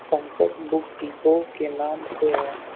Pankaj book depot के नाम से है।